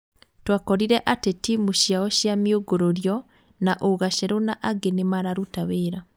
Twakorire atĩ timũ ciao cia mĩungũrũrio na ũgaceru na angĩ nĩ mararuta wĩra.